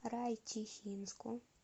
райчихинску